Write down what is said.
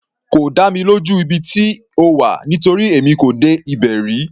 Kò dá mi lójú ibi tí ó wà nítorí èmi kò dé ibẹ̀ rí.